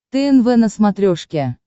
тнв на смотрешке